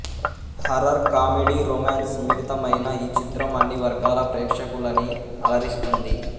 horror comedy romance మిళితమైన ఈ చిత్రం అన్ని వర్గాల ప్రేక్షకులని అలరిస్తుంది